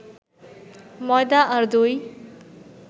ময়দা আর দই